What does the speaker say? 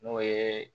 N'o ye